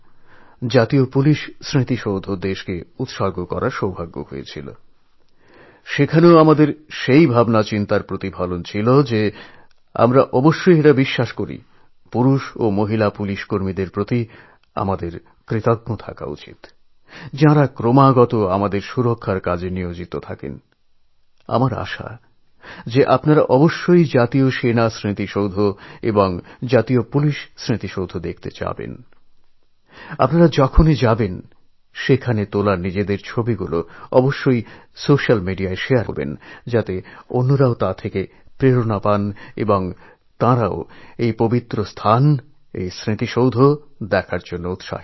আমি সিদ্ধান্ত নিলাম আমাদের দেশে এরকম একটি স্মারক হওয়া অবশ্যই প্রয়োজন